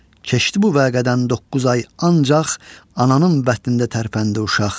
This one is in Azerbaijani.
Keçdi bu vəqədən doqquz ay, ancaq ananın bətnində tərpəndi uşaq.